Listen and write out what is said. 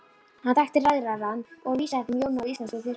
Hann þekkti ræðarann og vísaði þeim Jóni á íslensku þyrpinguna.